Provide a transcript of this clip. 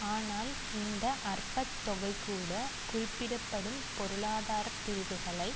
ஆனால் இந்த அற்பத் தொகை கூட குறிப்பிடப்படும் பொருளாதார பிரிவுகளை